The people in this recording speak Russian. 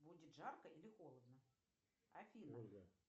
будет жарко или холодно афина